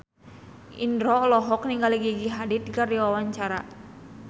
Indro olohok ningali Gigi Hadid keur diwawancara